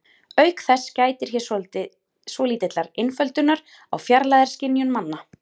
Auk þess gætir hér svolítillar einföldunar á fjarlægðarskynjun manna.